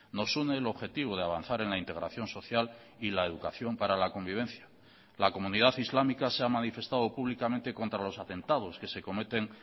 nos une el objetivo de avanzar en la integración social y la educación para la convivencia la comunidad islámica se ha manifestado públicamente contra los atentados que se cometen